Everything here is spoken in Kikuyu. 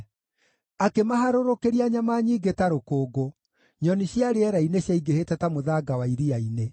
Akĩmaharũrũkĩria nyama nyingĩ ta rũkũngũ, nyoni cia rĩera-inĩ ciaingĩhĩte ta mũthanga wa iria-inĩ.